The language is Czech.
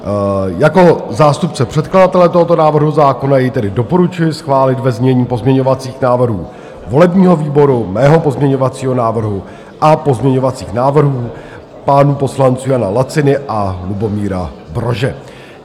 Jako zástupce předkladatele tohoto návrhu zákona jej tedy doporučuji schválit ve znění pozměňovacích návrhů volebního výboru, mého pozměňovacího návrhu a pozměňovacích návrhů pánů poslanců Jana Laciny a Lubomíra Brože.